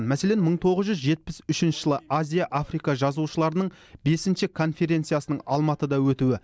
мәселен мың тоғыз жүз жетпіс үшінші жылы азия африка жазушыларының бесінші конференциясының алматыда өтуі